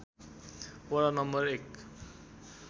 वडा नं. १